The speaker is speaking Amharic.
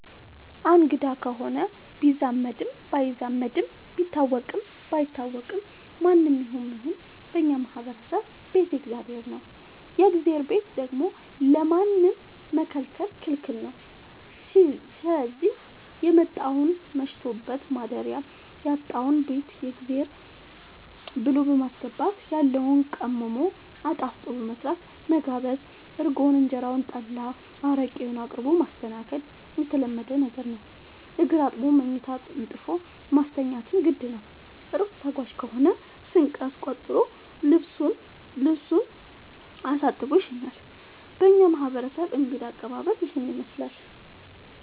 አንግዳ ከሆነ ቢዛመድም ባይዛመድም ቢታወቅም ባይታወቅም ማንም ይሁን ምንም በእኛ ማህበረሰብ ቤት የእግዜር ነው። የእግዜርን ቤት ደግሞ ለማንም መከልከል ክልክል ነው ስዚህ የመጣውን መሽቶበት ማደሪያ ያጣውን ቤት የእግዜር ብሎ በማስገባት ያለውን ቀምሞ አጣፍጦ በመስራት መጋበዝ እርጎውን እንጀራውን ጠላ አረቄውን አቅርቦ ማስተናገድ የተለመደ ነገር ነው። እግር አጥቦ መኝታ አንጥፎ ማስተኛትም ግድ ነው። እሩቅ ተጓዥ ከሆነ ስንቅ አስቋጥሮ ልሱን አሳጥቦ ይሸኛል። በእኛ ማህረሰብ እንግዳ አቀባሀል ይህንን ይመስላል።